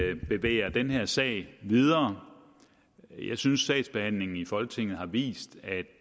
vi bevæger den her sag videre jeg synes at sagsbehandlingen i folketinget har vist at